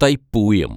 Thaipooyam